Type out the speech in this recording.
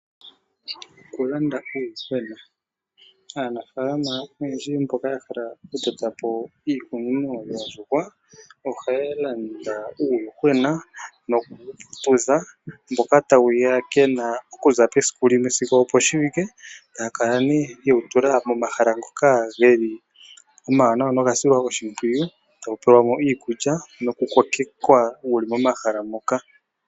Okulanda uuyuhwena! Aanafaalama oyendji mboka yahala okutota po iikunino yoondjuhwa ohaya landa uuyuhwena noku wuputudha, mboka tawuya kena okuza pesiku limwe sigo oposhiwike tayakala nee yewutula momahala ngoka geli omawanawa nogasilwa oshimpwiyu tawu pelwamo iikulya nokukokewa wuli momahala moka.